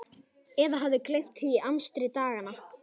Eða hafði gleymt því í amstri daganna.